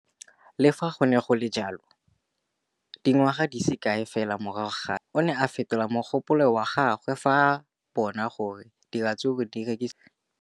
Le fa go le jalo, dingwaga di se kae fela morago ga seno, o ne a fetola mogopolo wa gagwe fa a bona gore diratsuru di rekisiwa thata.